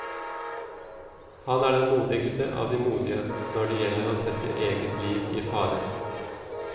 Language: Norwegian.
Han er den modigste av de modige, når det gjelder å sette eget liv i fare.